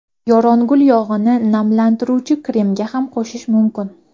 Yorongul yog‘ini namlantiruvchi kremga ham qo‘shish mumkin.